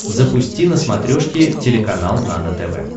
запусти на смотрешке телеканал нано тв